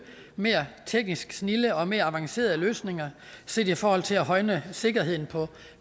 og teknisk mere snilde og mere avancerede løsninger set i forhold til at højne sikkerheden på